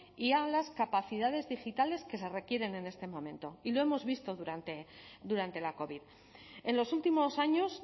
y a las capacidades digitales que se requieren en este momento y lo hemos visto durante la covid en los últimos años